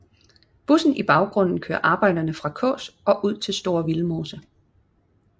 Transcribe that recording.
Bussen i baggrunden kører arbejderne fra Kaas og ud til Store Vildmose